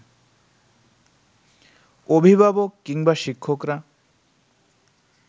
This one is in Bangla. অভিভাবক কিংবা শিক্ষকরা